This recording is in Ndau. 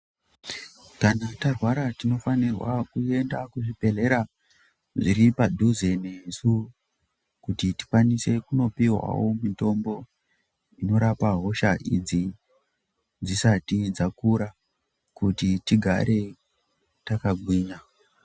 Kana yarwara tinofanirwa kuenda kuzvibhedhlera zviripadhize nesu kuti tikwanise kunooihwawo mitombo inokwanise kurapa hosha idzi dzisati dzakura kuti tigare yakagwinya.